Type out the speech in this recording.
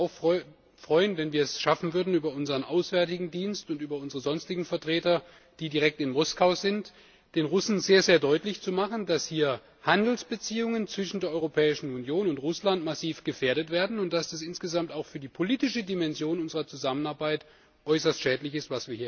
Ich würde mich auch freuen, wenn wir es schaffen würden, über unsern Auswärtigen Dienst und über unsere sonstigen Vertreter, die direkt in Moskau sind, den Russen sehr deutlich zu machen, dass hier Handelsbeziehungen zwischen der Europäischen Union und Russland massiv gefährdet werden und dass das, was wir hier erleben, insgesamt auch für die politische Dimension unserer Zusammenarbeit äußerst schädlich ist.